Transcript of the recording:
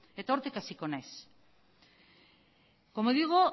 hortik hasiko naiz como digo